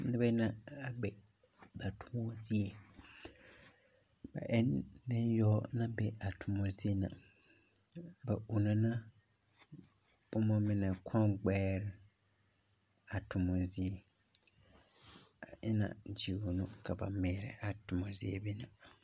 Noba yaga la be kyɛ, a noba yarɛ kpare iri iri mine fɔle la zupil kyɛ mine ba fɔle zupil, mine taa la boma ba naŋ sɛge eŋ daare poɔ ka ba de teɛ saazuŋ, a sɛgere mine waa ziiri kyɛ ka mine waa sɔglɔ kyɛ ka ba de teɛ saazu a are ne.